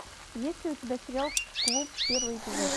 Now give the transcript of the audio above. есть ли у тебя сериал клуб первый эпизод